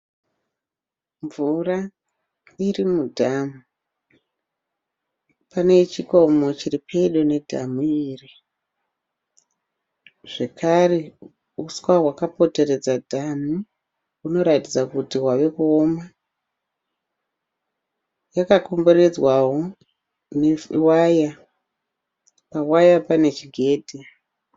Mvura iri mudhamu. Pane chikomo chiri pedo nedhamu iri zvekare huswa hwakapoteredza dhamu hunoratidza kuti hwava kuoma. Rakakomberedzwawo newaya pawaya pane chigedhi.